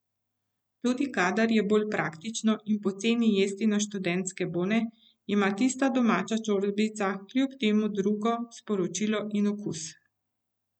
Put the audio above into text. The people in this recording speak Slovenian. Tudi kadar je bolj praktično in poceni jesti na študentske bone, ima tista domača čorbica kljub temu drugo sporočilo in okus.